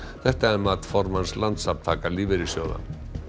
þetta er mat formanns Landssamtaka lífeyrissjóða